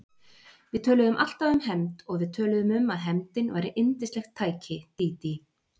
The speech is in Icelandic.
Við töluðum alltaf um hefnd og við töluðum um að hefndin væri yndislegt tæki, Dídí.